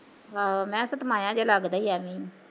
ਹਾਂ, ਜਿਆ ਲੱਗਦਾ ਈ ਐਵੈ ਆ